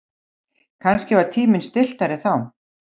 Kannski var tíminn stilltari þá.